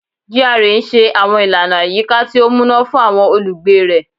GRA n ṣe àwọn ìlànà àyíká tí ó múná fún àwọn olùgbé rẹ